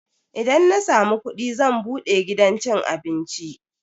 Idan na samu kudi zan bude gidan cin abinci.